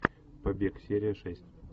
побег серия шесть